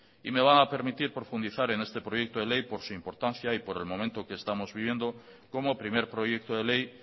y me van a permitir profundizar en este proyecto de ley por su importancia y por el momento que estamos viviendo como primer proyecto de ley